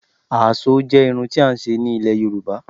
Àásó jẹ́ irun tí à ń ṣe nílẹ̀ Yorùbá.